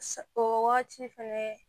Sa o wagati fɛnɛ